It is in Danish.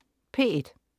P1: